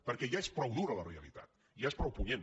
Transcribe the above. perquè ja és prou dura la realitat ja és prou punyent